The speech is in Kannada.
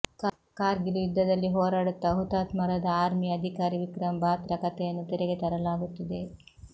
ಕಾರ್ಗಿಲ್ ಯುದ್ಧದಲ್ಲಿ ಹೋರಾಡುತ್ತಾ ಹುತಾತ್ಮರಾದ ಆರ್ಮಿ ಅಧಿಕಾರಿ ವಿಕ್ರಮ್ ಬಾತ್ರಾ ಕಥೆಯನ್ನು ತೆರೆಗೆ ತರಲಾಗುತ್ತಿದೆ